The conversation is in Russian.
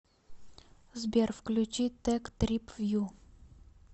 сбер включи тек трип вью